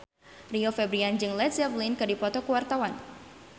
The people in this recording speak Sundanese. Rio Febrian jeung Led Zeppelin keur dipoto ku wartawan